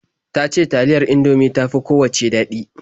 Ta ce taliyar Indomie ta fi kowacce daɗi.